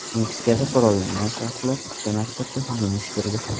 Meksikada qurollangan shaxslar uchta maktabga hujum uyushtirdi.